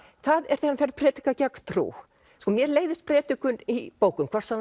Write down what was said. það er þegar hann fer að predika gegn trú mér leiðist predikun í bókum hvort sem